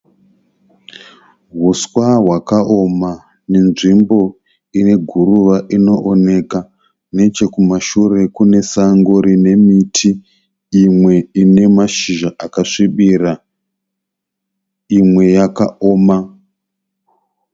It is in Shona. Uswa hwakaoma nenzvimbo ine guruva inooneka. Nechekumashure kune sango rine miti imwe ine mashizha akasvibira, imwe yakaoma.